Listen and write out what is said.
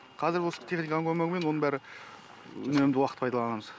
қазір осы техниканың көмегімен оның бәрі үнемді уақыт пайдаланамыз